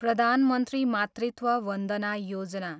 Pradhan Mantri Matritva Vandana Yojana